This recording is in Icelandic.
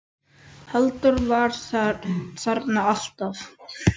Halldór var þarna alltaf.